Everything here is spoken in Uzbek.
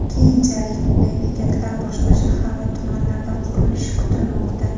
Keyinchalik bunday bekatlar boshqa shahar va tumanlarda qurilishi kutilmoqda.